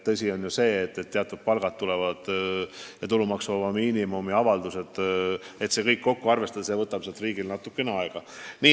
Palganäitajad ja kõik need tulumaksuvaba miinimumi avaldused alles tulevad ja nende kokkuarvestamine võtab riigil natuke aega.